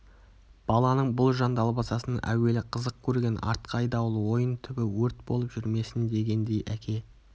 баланың бұл жан далбасасын әуелі қызық көрген артқы айдауыл ойын түбі өрт болып жүрмесін дегендей әке